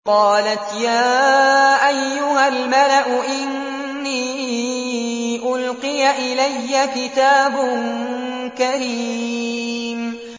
قَالَتْ يَا أَيُّهَا الْمَلَأُ إِنِّي أُلْقِيَ إِلَيَّ كِتَابٌ كَرِيمٌ